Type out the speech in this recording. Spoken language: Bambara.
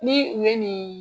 Ni u ye nin